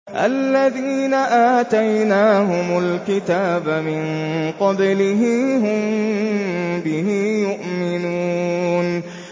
الَّذِينَ آتَيْنَاهُمُ الْكِتَابَ مِن قَبْلِهِ هُم بِهِ يُؤْمِنُونَ